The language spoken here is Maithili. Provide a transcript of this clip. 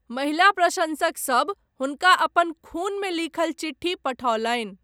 महिला प्रशँसकसभ हुनका अपन खूनमे लिखल चिट्ठी पठौलनि।